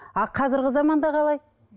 а қазіргі заманда қалай